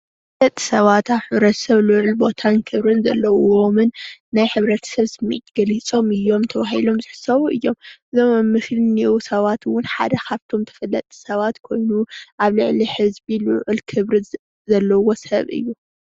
ተፈለጥቲ ሰባት አብ ሕብረተሰብ ልዑል ቦታን ክብሪን ዘለዎም ናይ ሕብረተሰብ ስምዒት ገሊፆም እዮም:: ተባሂሎም ዝሕሰቡ እዮም:: እዚ አብ አብ ምስሊ ዘሎ ካብቶም ተፈለጥቲ ሰባት ሓደ እዪ።